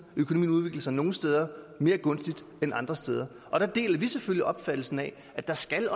og økonomien udvikler sig nogle steder mere gunstigt end andre steder og der deler vi selvfølgelig opfattelsen af at der skal